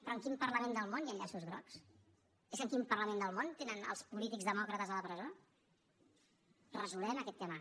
però en quin parlament del món hi han llaços grocs és que en quin parlament del món tenen els polítics demòcrates a la presó resolem aquest tema